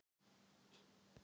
Breiðablik- ÍR